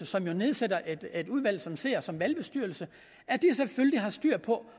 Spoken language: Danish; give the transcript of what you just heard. som nedsætter et udvalg som sidder som valgbestyrelse selvfølgelig har styr på